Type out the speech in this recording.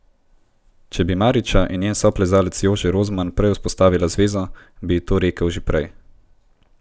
Če bi Mariča in njen soplezalec Jože Rozman prej vzpostavila zvezo, bi ji to rekel že prej.